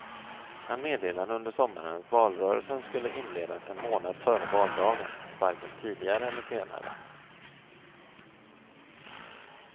Han meddelade under sommaren att valrörelsen skulle inledas en månad före valdagen, varken tidigare eller senare.